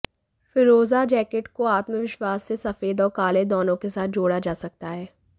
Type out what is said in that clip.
फ़िरोज़ा jacket को आत्मविश्वास से सफेद और काले दोनों के साथ जोड़ा जा सकता है